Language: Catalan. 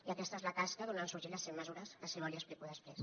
i aquesta és la tasca d’on han sorgit les cent mesures que si vol li explico després